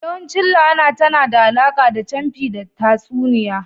Yawancin la'ana tana da alaƙa da camfi da tatsuniya